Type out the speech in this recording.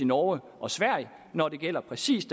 norge og sverige når det gælder præcis